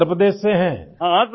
کیا آپ اتر پردیش سے ہیں؟